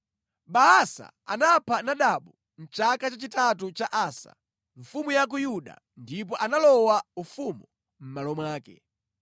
Baasa anapha Nadabu mʼchaka chachitatu cha Asa, mfumu ya ku Yuda ndipo analowa ufumu mʼmalo mwake.